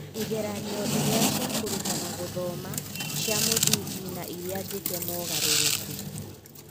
Igeranio ĩrĩa cia kũrutana gũthoma : Cia mũthingi na iria njĩke mogarũrũku.